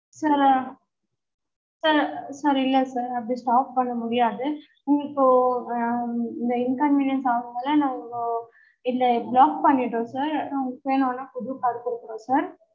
sir sir இல்ல sir அப்படி stop பண்ண முடியாது உங்களுக்கு ஆஹ் inconvenience ஆகும்ல நம்ப இதுல block பண்ணிடுறோம் sir நாங்க வேணுனா உங்களுக்கு புது card குடுக்கறோம் sir